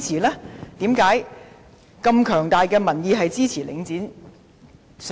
為甚麼有這麼強大的民意是支持領匯上市？